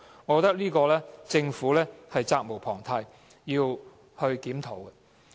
我覺得政府在這方面責無旁貸，需要檢討。